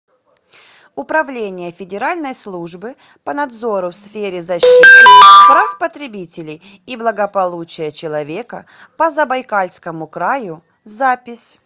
управление федеральной службы по надзору в сфере защиты прав потребителей и благополучия человека по забайкальскому краю запись